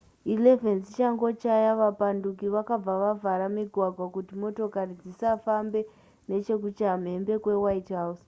11 dzichangochaya vapanduki vakabva vavhara migwagwa kuti motokari dzisafamba nechekukuchamhembe kwewhitehall